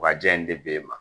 Wa jɛn in de b'e ma